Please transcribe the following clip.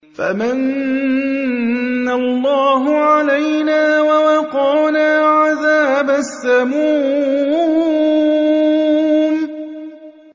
فَمَنَّ اللَّهُ عَلَيْنَا وَوَقَانَا عَذَابَ السَّمُومِ